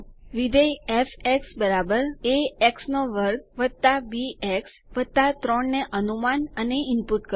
વિધેય f a x2 b x 3 ને અનુમાન અને ઈનપુટ કરો